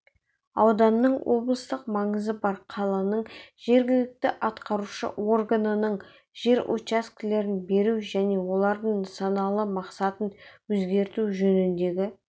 ауданның облыстық маңызы бар қаланың жергілікті атқарушы органының жер учаскелерін беру және олардың нысаналы мақсатын өзгерту жөніндегі